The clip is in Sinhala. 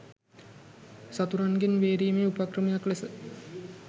සතුරන්ගෙන් බේරීමේ උපක්‍රමයක් ලෙස